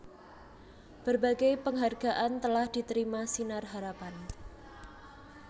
Berbagai penghargaan telah diterima Sinar Harapan